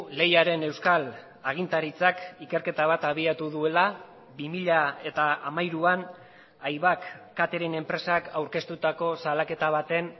lehiaren euskal agintaritzak ikerketa bat abiatu duela bi mila hamairuan aibak catering enpresak aurkeztutako salaketa baten